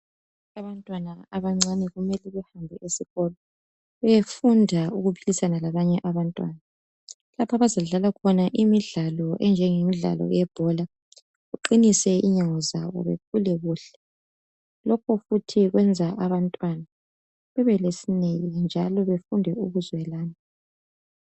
Abantwana abancane kumele behambe esikolo beyefunda ukuphilisana labanye abantwana, lapha bazadlala khona imidlalo enjenge midlalo yebhora kuqinise inyawo zabo kukhule kuhle, lokhu futhi kwenza abamtwana bebelesineke njalo befunde ukuzwelana.